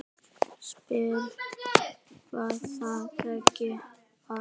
Spyr hvað það megi vera.